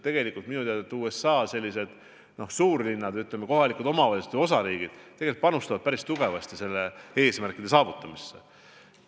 Tegelikult minu teada USA suurlinnade omavalitsused ja osariigid tegelikult panustavad päris tugevasti nende eesmärkide saavutamisse.